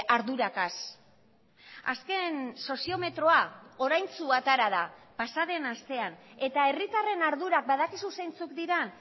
arduragaz azken soziometroa oraintsu atera da pasaden astean eta herritarren ardurak badakizu zeintzuk diren